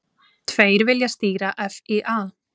Tveir vilja stýra FÍA